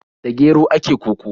Da gero ake koko.